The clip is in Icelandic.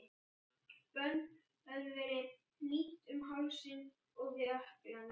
Bönd höfðu verið hnýtt um hálsinn og við ökklana.